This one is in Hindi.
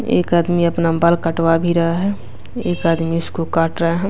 एक आदमी अपना बाल कटवा भी रहा है एक आदमी उसको काट रहा है।